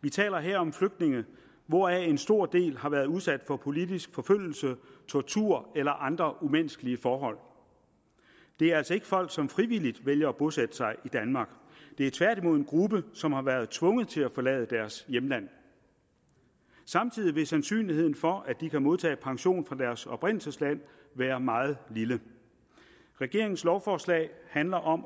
vi taler her om flygtninge hvoraf en stor del har været udsat for politisk forfølgelse tortur eller andre umenneskelige forhold det er altså ikke folk som frivilligt vælger at bosætte sig i danmark det er tværtimod en gruppe som har været tvunget til at forlade deres hjemland samtidig vil sandsynligheden for at de kan modtage pension fra deres oprindelsesland være meget lille regeringens lovforslag handler om